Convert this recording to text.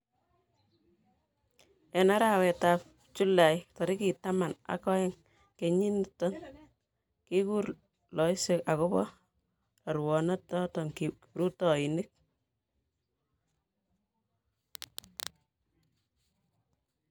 eng' arawetab julai tarikitab taman ak oeng' kenyit nito, kikur loiset akobo rorunotetab kiprutoinik